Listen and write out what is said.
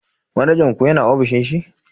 Manajan ku yana ofishin shi?